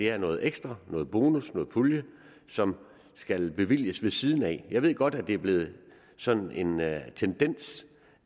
er noget ekstra noget bonus noget pulje som skal bevilges ved siden af jeg ved godt at det er blevet sådan en tendens